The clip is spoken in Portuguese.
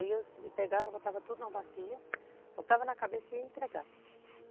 Aí eu pegava, botava tudo em uma bacia, botava na cabeça e ia entregar.